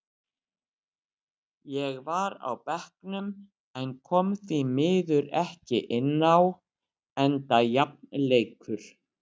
Ég var á bekknum en kom því miður ekki inn á enda jafn leikur.